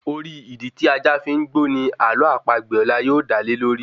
Orí Ìdí tí ajá fi ń gbó ní àló àpagbè ọlá yóò dá lé lórí